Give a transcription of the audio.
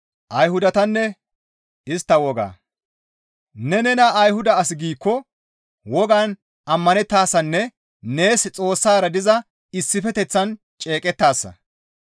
Ne nena Ayhuda as giikko wogan ammanettaasanne nees Xoossara diza issifeteththaan ceeqettaasa.